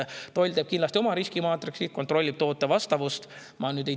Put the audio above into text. Toll teeb kindlasti oma riskimaatriksi ja kontrollib toote vastavust.